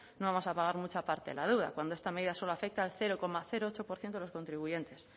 no vamos a pagar mucha parte de la deuda cuando esta medida solo afecta al cero coma ocho por ciento de los contribuyentes